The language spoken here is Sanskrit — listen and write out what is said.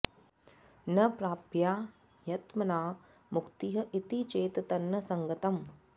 न प्राप्या ह्यात्मना मुक्तिः इति चेत् तन्न सङ्गतम्